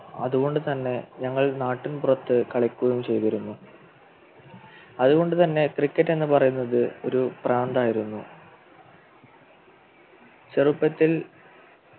അതുകൊണ്ടുതന്നെ ഞങ്ങൾ നാട്ടിൽ പുറത്തു കളിക്കുകയും ചെയ്തിരുന്നു അതുകൊണ്ടുതന്നെ Cricket എന്ന് പറയുന്നത് ഒരു പ്രാന്തായിരുന്നു ചെറുപ്പത്തിൽ